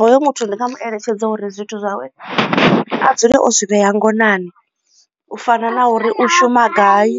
Hoyo muthu ndi nga mu eletshedza uri zwithu zwawe a dzule o zwi vhea ngonani u fana na uri u shuma gai